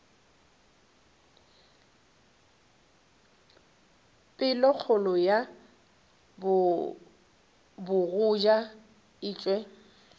pelokgolo ya bogoja e tšwa